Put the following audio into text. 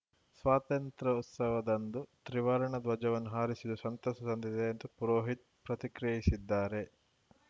ಸ್ವಾತಂತ್ರ್ಯೋತ್ಸವದಂದು ತ್ರಿವರ್ಣಧ್ವಜವನ್ನು ಹಾರಿಸಿದ್ದು ಸಂತಸ ತಂದಿದೆ ಎಂದು ಪುರೋಹಿತ್‌ ಪ್ರತಿಕ್ರಿಯಿಸಿದ್ದಾರೆ